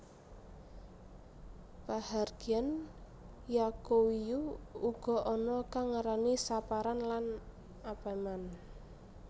Pahargyan Yaqowiyu uga ana kang ngarani Saparan lan Apeman